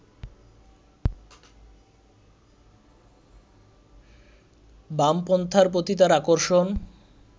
বামপন্থার প্রতি তাঁর আকর্ষণ